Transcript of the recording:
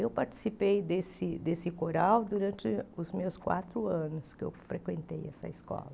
Eu participei desse desse coral durante os meus quatro anos que eu frequentei essa escola.